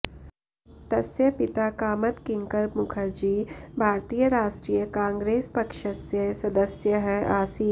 तस्य पिता कामद किङ्कर मुखर्जि भारतीयराष्ट्रियकाङ्ग्रेस्पक्षस्य सदस्यः आसीत्